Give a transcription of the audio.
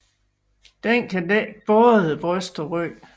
Den kan dække både bryst og ryg